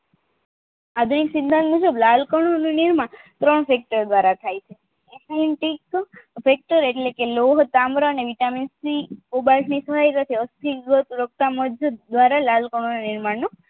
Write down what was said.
આધુનિક સિદ્ધાંત મુજબ લાલ કણ નું નિર્માણ ત્રણ sector દ્વારા થાય છે sector એટલે કે લોહ પાંદડા અને વિટામિન થી મુજબ દ્વારા લાલકણો નું નિર્માણ